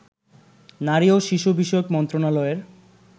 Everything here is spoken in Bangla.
নারী ও শিশু বিষয়ক মন্ত্রণালয়ের